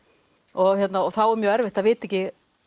og þá er mjög erfitt að vita ekki